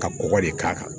Ka kɔgɔ de k'a kan